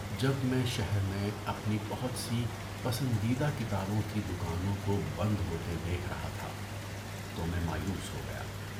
جب میں شہر میں اپنی بہت سی پسندیدہ کتابوں کی دکانوں کو بند ہوتے دیکھ رہا تھا تو میں مایوس ہو گیا۔